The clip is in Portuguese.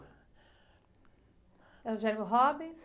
É o Jerome Robbins?